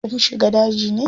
Kum shiga daji ne?